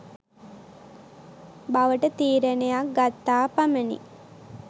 බවට තීරණයක් ගත්තා පමණි.